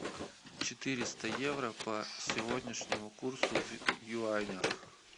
четыреста евро по сегодняшнему курсу в юанях